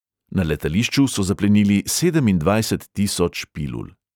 Na letališču so zaplenili sedemindvajset tisoč pilul.